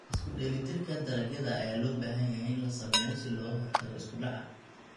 Isku-dheellitirka dalagyada ayaa loo baahan yahay in la sameeyo si looga hortago isku dhaca.